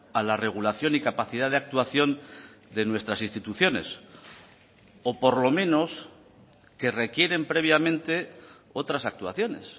a la regulación y capacidad de actuación de nuestras instituciones o por lo menos que requieren previamente otras actuaciones